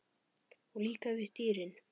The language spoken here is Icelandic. Og líka við dýrin.